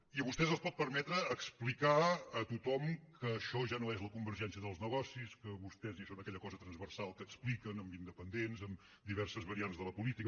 i a vostès els pot permetre explicar a tothom que això ja no és la convergència dels negocis que vostès ja són aquella cosa transversal que expliquen amb independents amb diverses variants de la política